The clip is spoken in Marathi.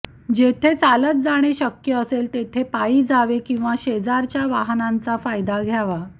जेथे चालत जाणे शक्य असेल तेथे पायी जावे किंवा शेजारच्या वाहनांचा फायदा घ्यावा